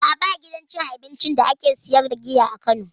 A'a ba gidan cin abincin da ake siyar da giya a kano